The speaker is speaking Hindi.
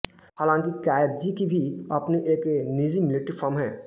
हाँलाकि काॅएत्ज़ी की भी अब अपनी एक निजी मिलिट्री फर्म है